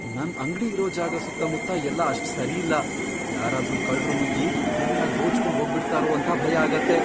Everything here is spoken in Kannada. ನನ್ ಅಂಗ್ಡಿ ಇರೋ ಜಾಗ ಸುತ್ತಮುತ್ತ ಎಲ್ಲ ಅಷ್ಟ್ ಸರಿ ಇಲ್ಲ, ಯಾರಾದ್ರೂ ಕಳ್ರು ನುಗ್ಗಿ ಎಲ್ಲ ದೋಚ್ಕೊಂಡ್ ಹೋಗ್ಬಿಡ್ತಾರೋ ಅಂತ ಭಯ ಆಗತ್ತೆ.